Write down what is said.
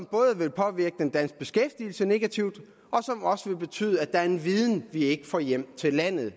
både vil påvirke den danske beskæftigelse negativt og betyde at der er en viden vi ikke får hjem til landet og